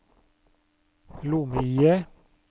lomme-IE